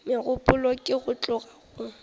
megopolo ke go tloga go